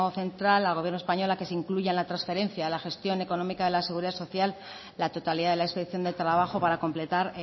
central al gobierno español a que se incluya en la transferencia de la gestión económica de la seguridad social la totalidad de las inspección de trabajo para completar